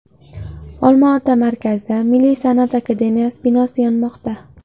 Olma-ota markazida Milliy San’at akademiyasi binosi yonmoqda.